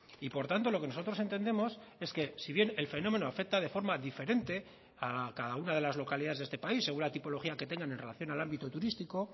y por tanto lo que nosotros entendemos es que si bien el fenómeno afecta de forma diferente a cada una de las localidades de este país según la tipología que tengan en relación al ámbito turístico